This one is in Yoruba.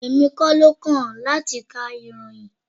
Èmi kọ́ ló kàn láti ka ìròyìn.